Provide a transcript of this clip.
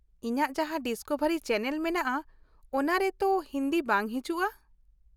ᱤᱧᱟᱹᱜ ᱡᱟᱦᱟᱸ Discovery channel ᱢᱮᱱᱟᱜᱼᱟ ᱚᱱᱟ ᱨᱮ ᱛᱚ ᱦᱤᱱᱫᱤ ᱵᱟᱝ ᱦᱤᱡᱩᱜ -ᱟ ᱾